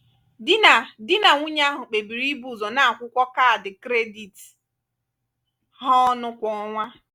di na di na nwunye ahụ kpebiri ibu ụzọ na-akwụkọ ụgwọ kaadị kredit ha ọnụ kwa ọnwa.